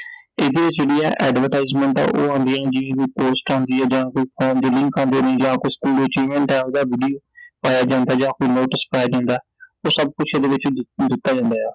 ਇਹਦੀ ਜਿਹੜੀ ਐ Advertisement ਐ ਉਹ ਆਂਦੀ ਐ ਜਿਵੇਂ ਕੋਈ ਪੋਸਟ ਆਂਦੀ ਐ ਜਾਂ ਕੋਈ ਫਾਰਮ ਦੇ link ਆਉਂਦੇ ਨੇ ਜਾਂ ਕੋਈ ਓਹਦਾ ਵੀਡੀਓ ਪਾਇਆ ਜਾਂਦੈ ਜਾਂ ਕੋਈ ਨੋਟਿਸ ਪਾਇਆ ਜਾਂਦੈ ਉਹ ਸਭ ਕੁਝ ਇਹਦੇ ਵਿਚੋਂ ਦਿੱਤਾ ਜਾਂਦਾ ਏ ਆ I